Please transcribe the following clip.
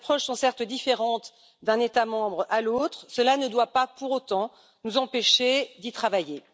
Les approches sont certes différentes d'un État membre à l'autre, mais cela ne doit pas pour autant nous empêcher d'y travailler.